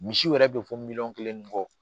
Misi yɛrɛ bɛ fɔ miliyɔn kelen ni kɔ